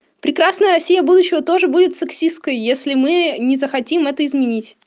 прекрасная россия будущего тоже будет сексисткой если мы не захотим это изменить